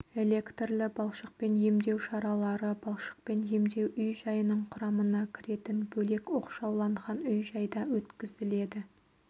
электрлі балшықпен емдеу емшаралары балшықпен емдеу үй-жайының құрамына кіретін бөлек оқшауланған үй-жайда өткізіледі